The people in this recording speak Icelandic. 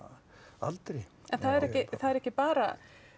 aldri en það eru ekki bara